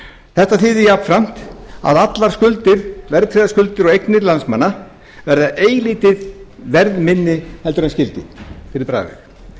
þetta þýðir jafnframt að allar verðtryggðar skuldir og eignir landsmanna verða eilítið verðminni heldur en skyldi fyrir bragðið það er